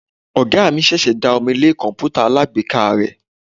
Oga mi sẹsì da omí le kọǹpútà alágbèéká re.